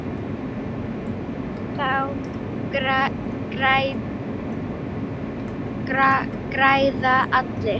Þá græða allir.